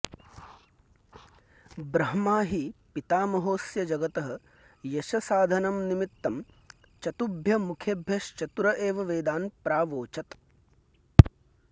ब्रह्मा हि पितामहोऽस्य जगतः यशसाधनंनिमित्तं चतुभ्य मुखेभ्यश्चतुर एवं वेदान् प्रावोचत्